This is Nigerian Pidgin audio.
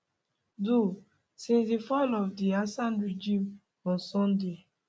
do since di fall of di assad regime on sunday